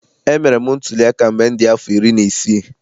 Emere m ntuliaka mgbe m dị afọ iri na isii.